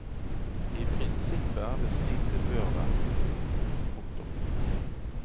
I prinsippet er det slik det bør være. punktum